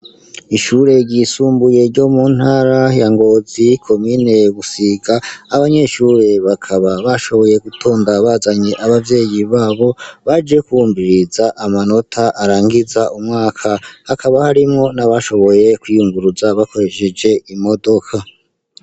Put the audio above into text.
ishure ry'isumbuye ryo mu ntara ya ngozi komine gusiga, abanyeshure bakaba bashoboye gutonda bazanye abavyeyi babo, baje kwumviriza amanota arangiza umwaka. hakaba harimo n'abashoboye kwiyunguruza bakoresheje imodoka.